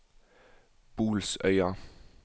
Bolsøya